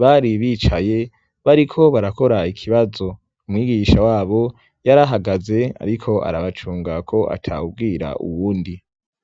bari bicaye bariko barakora ikibazo. Umwigisha wabo yari ahagaze ariko arabacunga ko atawubwira uwundi.